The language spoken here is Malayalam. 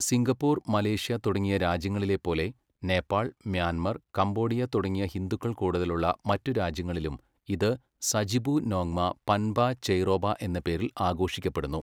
സിംഗപ്പൂർ, മലേഷ്യ തുടങ്ങിയ രാജ്യങ്ങളിലെപ്പോലെ നേപ്പാൾ, മ്യാൻമർ, കംബോഡിയ തുടങ്ങിയ ഹിന്ദുക്കൾ കൂടുതലുള്ള മറ്റു രാജ്യങ്ങളിലും ഇത് സജിബു നോങ്മ പൻബ ചെയ്റോബ എന്ന പേരിൽ ആഘോഷിക്കപ്പെടുന്നു.